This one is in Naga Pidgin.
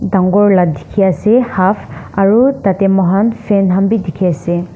Dangor la dekhi ase half aro tatey mokhan fan khan bhi dekhe ase.